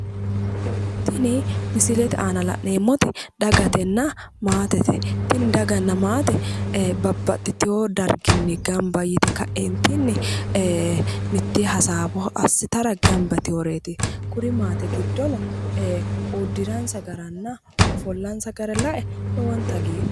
Tini misilete aana la'neemmoti dagatenna maatete. tini daganna maate babbaxitewo darginni gamba yite ka'eentiinni mittee hasaawo assitara gamba yiteworeeti. Kuri maate giddono, uddiransa garanna offollansa gara lae lowonta hagiidhoomma.